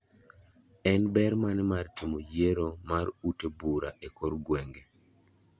En ber mane mar timo yiero e mar ute bura e kor gwenge?